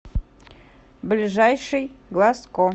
ближайший глазко